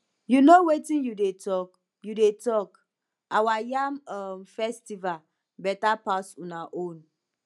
you no wetin you dey you dey talk our yam um festival beta pass una own